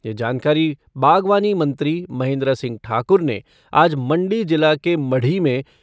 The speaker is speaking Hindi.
ये जानकारी बागवानी मंत्री महेन्द्र सिंह ठाकुर ने आज मंडी जिला के मढ़ी में